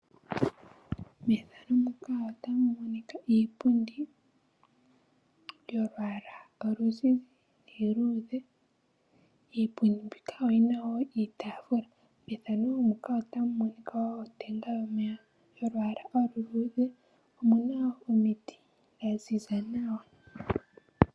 Iipundi yolwaala oluzizi noluluudhe nosho woo iitafula oyo yihole okukitumbwa kaantu uuna yeli motenda.